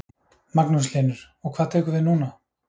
Magnús Hlynur: Og hvað tekur við núna?